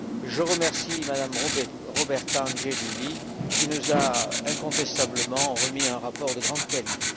Je remercie Mme Roberta Angelilli, qui nous a incontestablement remis un rapport de grande qualité.